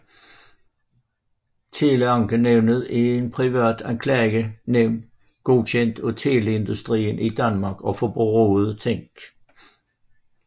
Teleankenævnet er et privat klagenævn godkendt af Teleindustrien i Danmark og Forbrugerrådet Tænk